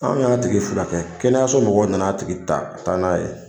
Anw yan tigi furakɛ, kɛnɛyaso mɔgɔw nana tigi ta ka taa n'a ye.